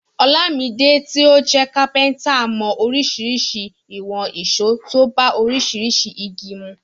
Olamide tí ó jẹ́ kápẹ́ntà mọ oríṣiríṣi ìwọ̀n ìṣó tó bá oríṣiríṣi igi mu.